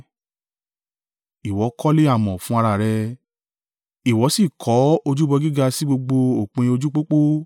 ìwọ kọ́lé amọ̀ fún ara rẹ, ìwọ sì kọ́ ojúbọ gíga sí gbogbo òpin ojú pópó.